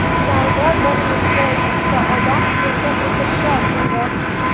Zalda bir necha yuzta odam yerda o‘tirishar edi.